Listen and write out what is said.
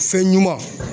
Fɛn ɲuman